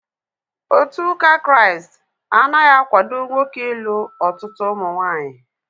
Otu ụka Kraịst anaghị akwado nwoke ịlụ ọtụtụ ụmụnwaanyị